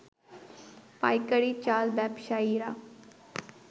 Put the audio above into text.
পাইকারী চাল ব্যবসায়ীরা